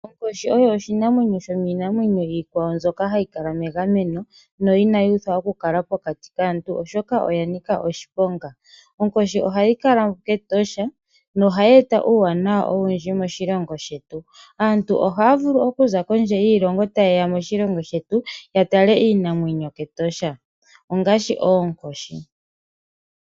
Onkoshi oyo oshinamwenyo yominamyeno mbyoka hayi kala megameno no inayi uthwa okukala pokati kaantu oshoka oya nika oshiponga. Onkoshi ohayi kala ketosha nohayi ta uuwanawa owundji moshilongo shetu aantu ohaya vulu okuza kiilongo ya yooloka ya tale iinamwenyo ketosha ngaashi oonkoshi.